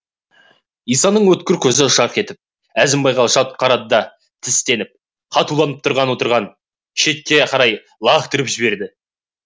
исаның өткір көзі жарқ етіп әзімбайға жалт қарады да тістеніп қатуланып тұрып орағын шетке қарай лақтырып жіберді